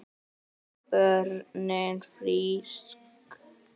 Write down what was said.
Börnin frísk.